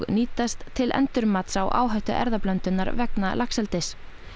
til endurmats á áhættu erfðablöndunar vegna laxeldis